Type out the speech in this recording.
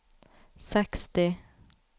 seksti